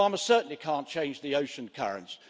Farmers certainly can't change the ocean currents.